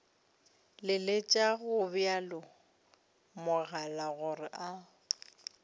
leletša gobjalo mogala gore a